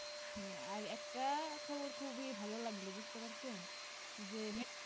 আর একটা খবর খুবই ভালো লাগলো বুঝতে পারছো যে